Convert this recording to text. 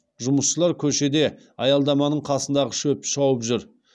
жұмысшылар көшеде аялдаманың қасындағы шөпті шауып жүр